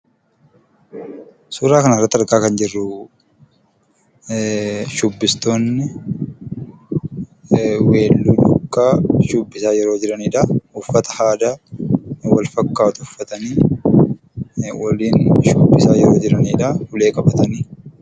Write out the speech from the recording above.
Suuraa kanarratti argaa kan jirruu, shubbistoonni weelluu duukaa shubbisaa yeroo jiranidhaa. Uffata aadaa wal fakkaatu uffatanii waliin shubbisaa yeroo jiranidhaa. Ulee qabatanii.